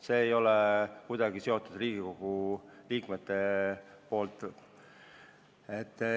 See ei ole kuidagi seotud Riigikogu liikmetega.